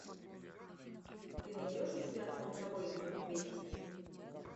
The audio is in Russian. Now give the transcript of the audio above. ты найдешь у себя центровой из поднебесья